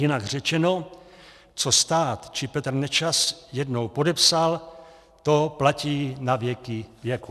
Jinak řečeno, co se stát či Petr Nečas jednou podepsal, to platí navěky věků.